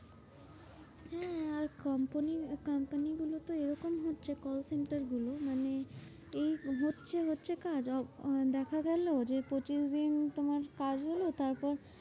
হ্যাঁ আর company র আহ company গুলোতো এরকম হচ্ছে কল center গুলো। মানে এই হচ্ছে হচ্ছে কাজ আহ দেখা গেলো যে পঁচিশদিন তোমার কাজ হলো। তারপর